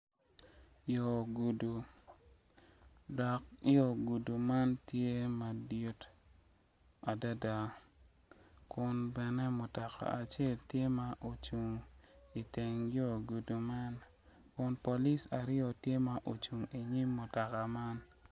Yor gudo, dok yo gudo man tye madit adada kun bene mutoka acel tye ma ocung, i teng yo gudo man, kun polis aryo tye ma ocung i nyim mutoka man.